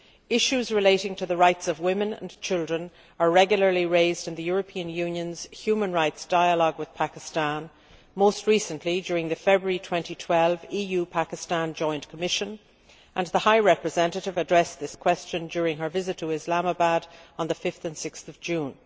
Issues relating to the rights of women and children are regularly raised in the European Union's human rights dialogue with Pakistan, most recently during the February 2012 EU Pakistan Joint Commission, and the High Representative addressed this question during her visit to Islamabad on 5 and 6 June.